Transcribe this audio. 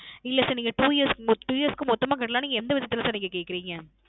இல்ல Sir நீங்க two yearsTwo Years க்கு மொத்தமா கட்டலாம் னு எந்த விதத்துல Sir நீங்க கேட்குறிங்க